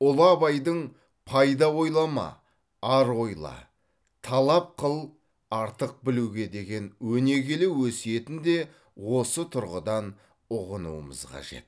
ұлы абайдың пайда ойлама ар ойла талап қыл артық білуге деген өнегелі өсиетін де осы тұрғыдан ұғынуымыз қажет